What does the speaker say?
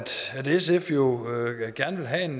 sf jo gerne vil have en